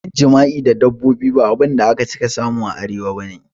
Yin jima'i da dabbobi ba abinda aka cika samu a Arewa bane